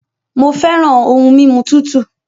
Mo fẹràn ohun mímu tútù